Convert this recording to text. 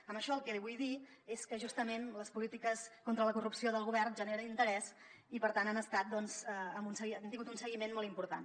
amb això el que li vull dir és que justament les polítiques contra la corrupció del govern generen interès i per tant han tingut un seguiment molt important